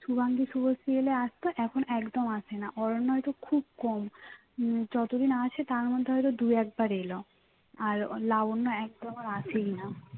শুবাঙ্গী, শুভশ্রী এলে আসতো এখন একদম আসে না অরণ্য হয়তো খুব কম উম যতদিন আসে তার মধ্যে হয়ত দুই একবার এল আর লাবণ্য একদম আর আসেই না